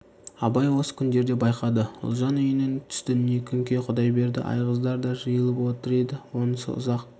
абай осы күндерде байқады ұлжан үйінің түстініне күнке құдайберді айғыздар да жиылып отыр еді онысы ұзақ